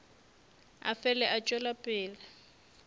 a fele a tšwela pele